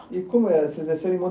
E como era?